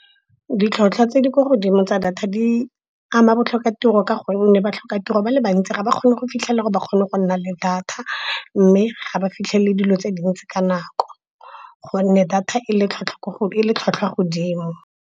Ditlhotlhwa tse di kwa godimo tsa data di ama botlhokatiro, ka gonne batlhoka tiro ba le bantsi ga ba kgone go fitlhelela gore ba kgone go nna le data. Mme ga ba fitlhelele dilo tse dintsi ka nako, go nne data e le tlhwatlhwa godimo.